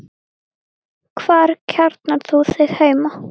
Hvar kjarnar þú þig heima?